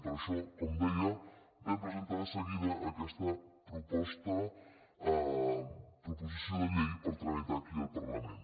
per això com deia vam presentar de seguida aquesta proposició de llei per tra·mitar aquí al parlament